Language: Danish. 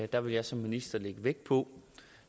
der vil jeg som minister lægge vægt på